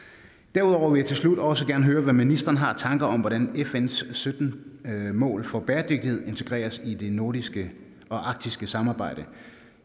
derudover vil jeg til slut også gerne høre hvad ministeren har af tanker om hvordan fns sytten mål for bæredygtighed integreres i det nordiske og arktiske samarbejde